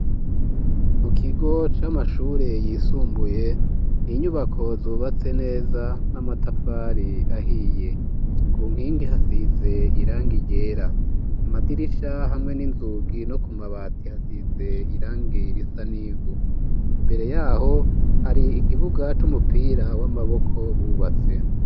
Mu kigo c'amashure yisumbuye, n'inyubako zubatse neza, n'amatafari ahiye, ku nkingi hasize irangi ryera, amadirisha hamwe n'inzugi no ku mabati hasize irangi risa n'ivu, imbere yaho hari ikibuga c'umupira w'amaboko bubatse.